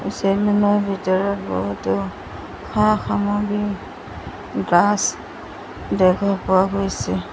ভিতৰত বহুতো সা-সামগ্ৰী ড্ৰাচ দেখা পোৱা গৈছে।